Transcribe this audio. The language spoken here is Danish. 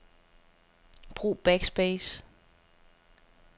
Brug backspace.